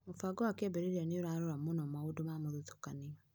Mũbango wa kĩambĩria nĩ ũrarora mũno maũndũ ma mũthutũkanio.